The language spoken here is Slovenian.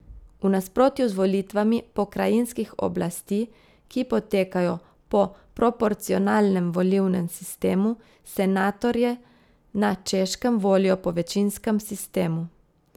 V nasprotju z volitvami pokrajinskih oblasti, ki potekajo po proporcionalnem volilnem sistemu, senatorje na Češkem volijo po večinskem sistemu.